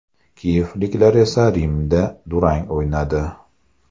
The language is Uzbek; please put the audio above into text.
Kiyevliklar esa Rimda durang o‘ynadi.